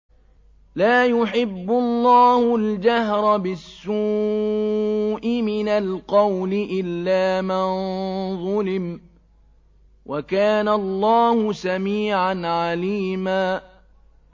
۞ لَّا يُحِبُّ اللَّهُ الْجَهْرَ بِالسُّوءِ مِنَ الْقَوْلِ إِلَّا مَن ظُلِمَ ۚ وَكَانَ اللَّهُ سَمِيعًا عَلِيمًا